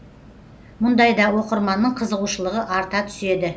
мұндайда оқырманның қызығушылығы арта түседі